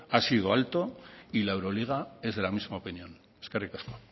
ha sido alto y la euroliga es de la misma opinión eskerrik asko